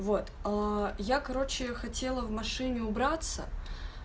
вот я короче хотела в машине убраться